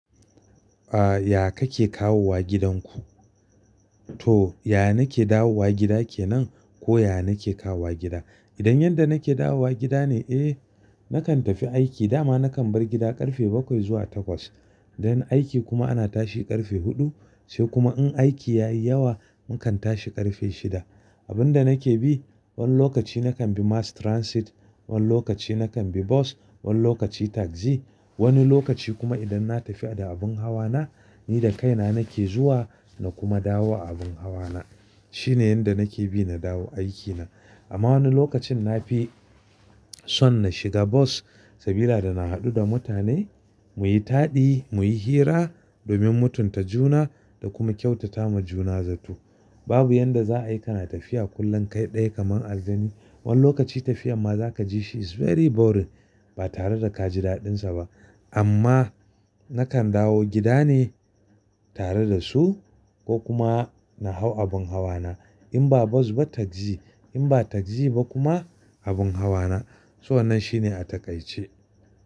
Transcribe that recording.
Ah, ya ka ke kawowa gidanku? To, yaya na ke dawowa gida ke nan ko ya na ke kawa gida? Idan yanda na ke dawowa gida ne, eh, nakan tafi aiki, dama nakan bar gida ƙarfe bakwai zuwa takwas. Idan aiki kuma ana tashi ƙarfe huɗu, sai kuma in aiki yayi yawa, mukan tashi ƙarfe shida. Abunda na ke bi, wani lokaci nakan bi mass transit, wani lokaci nakan bi bus, wani lokaci taxi, wani lokaci kuma idan na tafi da abun hawa na, ni da kaina na ke zuwa na kuma dawo a abun hawa na. Shine yanda na ke bi na dawo aikina. Amma wani lokacin na fi son na shiga bus, sabila da na haɗu da mutane, muyi taɗi, muyi hira domin mutunta juna da kuma kyautata ma juna zato. Babu yanda za'a yi kana tafiya kullum kai ɗaya kaman aljani. Wani lokaci tafiya amma zaka ji shi is very boring ba tare da ka ji daɗinsa ba. Amma nakan dawo gida ne tare da su ko kuma na hau abun hawa na. In ba bos ba tagzi, in ba tagzi ba kuma abun hawa na. So wannan shine a takaice.